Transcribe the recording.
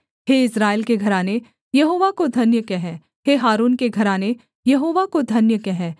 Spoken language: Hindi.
हे इस्राएल के घराने यहोवा को धन्य कह हे हारून के घराने यहोवा को धन्य कह